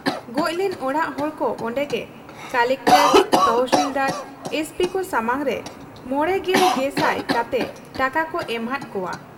ᱜᱚᱡ ᱞᱮᱱ ᱚᱲᱟᱜ ᱦᱚᱲᱠᱚ ᱚᱱᱰᱮᱜᱮ ᱠᱚᱞᱮᱠᱴᱚᱨ, ᱛᱚᱦᱥᱤᱞᱫᱟᱨ, ᱮᱥᱯᱤᱠᱚ ᱥᱟᱢᱟᱝᱨᱮ ᱕᱐᱐᱐᱐ ᱠᱟᱛᱮ ᱴᱟᱠᱟᱠᱚ ᱮᱢᱟ ᱦᱟᱫ ᱠᱚᱣᱟ ᱾